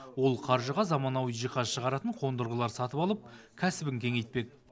ол қаржыға заманауи жиһаз шығаратын қондырғылар сатып алып кәсібін кеңейтпек